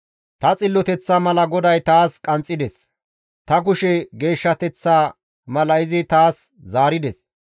Ta xilloteththa mala GODAY taas qanxxides; ta kushe geeshshateththa mala izi taas zaarides.